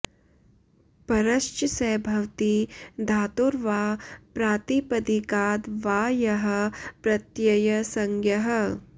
परश्च स भवति धातोर् वा प्रातिपदिकाद् वा यः प्रत्ययसंज्ञः